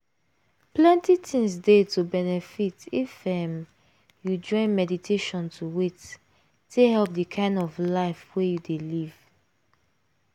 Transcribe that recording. plenty things dey to benefit if um you join meditation to wait - take help the kind of life wey you dey live